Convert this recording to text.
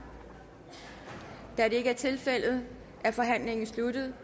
da det ikke er tilfældet er forhandlingen sluttet